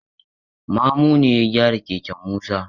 Mamu ne ya gyara keken Musa.